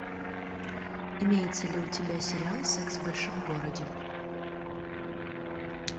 имеется ли у тебя сериал секс в большом городе